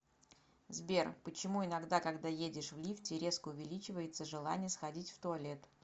сбер почему иногда когда едешь в лифте резко увеличивается желание сходить в туалет